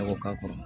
A ko k'a kɔrɔ